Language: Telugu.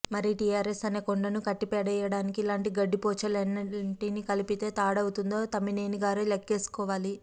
మరి టిఆర్ఎస్ అనే కొండను కట్టిపడేయడానికి ఇలాంటి గడ్డిపోచలు ఎన్నింటిని కలిపితే తాడవుతుందో తమ్మినేనిగారే లెక్కేసుకోవాలి